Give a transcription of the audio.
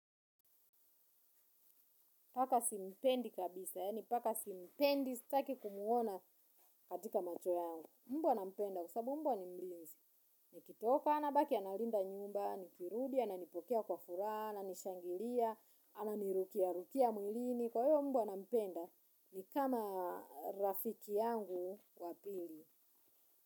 Paka simpendi kabisa yaani paka simpendi staki kumuona katika macho yangu. Mbwa nampenda kwa sababu mbwa ni mlinzi. Ni kitoka ana baki analinda nyumba ni kirudia ana nipokea kwa furaha ana nishangilia ana nirukia rukia mwilini. Kwa hiyo mbwa nampenda ni kama rafiki yangu wa pili.